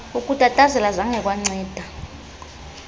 ukutatazela zange kwanceda